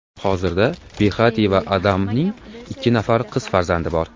Hozirda Behati va Adamning ikki nafar qiz farzandi bor.